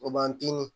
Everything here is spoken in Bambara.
O b'an dimi